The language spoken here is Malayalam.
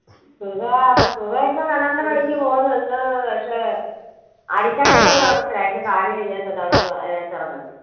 ഇപ്പൊ കിണറിന്റെ പണിക്ക് പോകുന്നുണ്ട്, പക്ഷെ അടിത്തട്ടിൽ ഒന്നും ഇറങ്ങത്തില്ല. അതിന്റെ കാല് വയ്യാത്തതുകൊണ്ട് അവിടെ അങ്ങ് അഹ് അതിനകത്ത് ഇറങ്ങത്തില്ല.